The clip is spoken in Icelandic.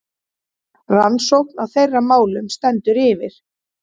Rannsókn á þeirra málum stendur yfir.